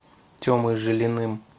темой жилиным